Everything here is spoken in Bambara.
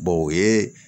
o ye